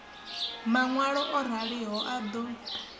maṋwalo o raliho a ḓo